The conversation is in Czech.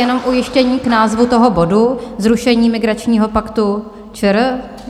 Jenom ujištění k názvu toho bodu - zrušení migračního paktu ČR?